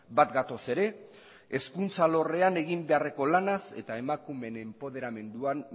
bat gatoz ere hezkuntza alorrean egin beharreko lanaz eta emakumeen enpoderamenduan